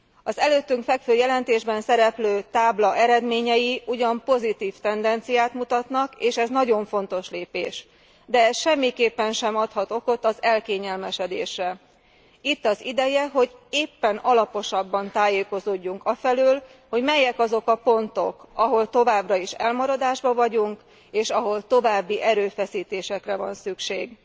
Az előttünk fekvő jelentésben szereplő tábla eredményei ugyan pozitív tendenciát mutatnak, és ez nagyon fontos lépés, de ez semmiképpen sem adhat okot az elkényelmesedésre. Itt az ideje, hogy éppen alaposabban tájékozódjunk afelől, hogy melyek azok a pontok, ahol továbbra is elmaradásban vagyunk, és ahol további erőfeszítésre van szükség.